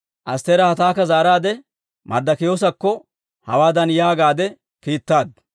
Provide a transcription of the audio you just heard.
Astteera Hataaka zaaraadde, Marddokiyoosakko hawaadan yaagaadde kiittaaddu;